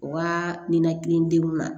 Wa nin nakili denw ma